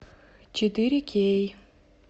четыре кей